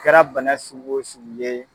Kɛra bana sugu o sugu ye.